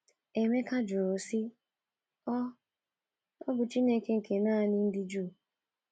Emeka jụrụ sị, “ Ọ̀ “ Ọ̀ bụ Chineke nke nanị ndị Juu?